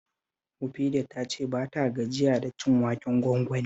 Mufida ta ce ba ta gajiya da cin waken gwangwani